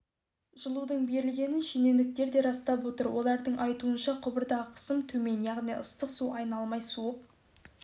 жылудың берілгенін шенеуніктер де растап отыр олардың айтуынша құбырдағы қысым төмен яғни ыстық су айналмай суып